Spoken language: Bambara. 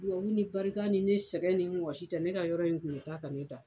Dugawu ni barika ni ne sɛgɛn nin ne wɔsi tɛ ne ka yɔrɔ in kun bɛ taa ka ne dan.